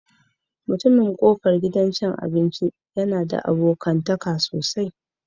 Mutumin kofar gidan cin abinci yana da abokantaka sosai